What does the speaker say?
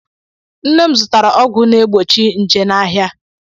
Nne m zụtara ọgwụ na-egbochi nje n'ahịa.